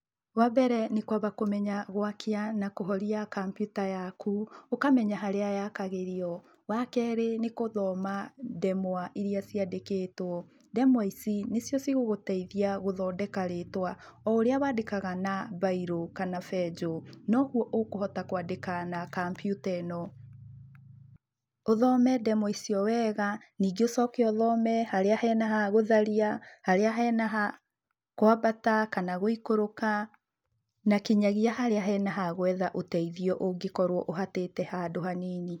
Wambere nĩ kwamba kũmenya gwakia na kũhoria kambiuta yaku ũkamenya harĩa yakagĩrio. Wakeerĩ nĩ gũthoma ndemwa iria ciandĩkĩtwo. Ndemwa ici nĩ cio cigũgũteithia gũthondeka rĩtwa. O ũrĩa wandĩkaga na bairũ kana benjũ nogũo ũkũhota kwandĩka na kambiuta ĩno. Ũthome ndemwa icio wega, ningĩ ũcoke ũthome harĩa hena ha gũtharia, harĩa hena ha kwambata kana gũikũruka, na kinyagĩa harĩa hena ha gwetha ũteithio ũngĩkorwo ũhatĩte handũ hanini.